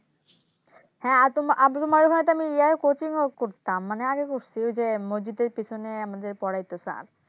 হ্যাঁ তোমার অব তোমার ঘরে তো আমি Coaching করতাম মানে আগে করছি ওইযে মসজিদ এর পেছনে আমাদের পড়াইতো Sir